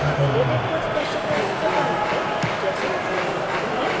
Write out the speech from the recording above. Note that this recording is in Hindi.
हमें latex को स्पष्टता से बताना है जैसे हम अभी करते हैं